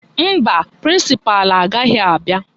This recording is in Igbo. Mba, prịnsịpalụ agaghị abịa